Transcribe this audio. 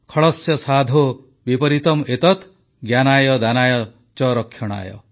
ଖଳସ୍ୟ ସାଧୋଃ ବିପରୀତମ୍ ଏତତ୍ ଜ୍ଞାନାୟ ଦାନାୟ ଚ ରକ୍ଷଣାୟ